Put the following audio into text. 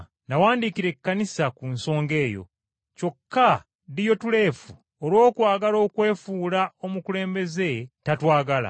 Nawandiikira Ekkanisa ku nsonga eyo, kyokka Diyotuleefe, olw’okwagala okwefuula omukulembeze tatwagala.